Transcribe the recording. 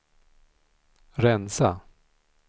rensa